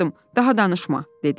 Daha danışma, dedi.